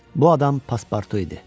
Bu adam Paspartu idi.